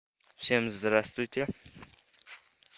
всем здравствуйте